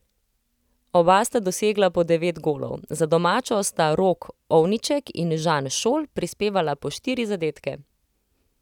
Oba sta dosegla po devet golov, za domačo sta Rok Ovniček in Žan Šol prispevala po štiri zadetke.